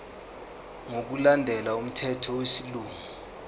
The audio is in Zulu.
ngokulandela umthetho wesilungu